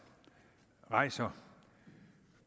rejser